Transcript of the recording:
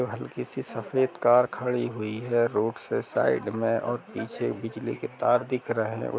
और हल्की सी सफेद कार खड़ी हुई है रोड से साइड में और पीछे बिजली के तार दिख रहे है।